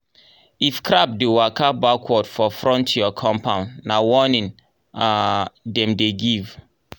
if crab dey waka backward for front your compound na warning um dem dey give.